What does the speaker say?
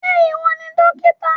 Ṣé ìwọ ni dókítà?